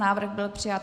Návrh byl přijat.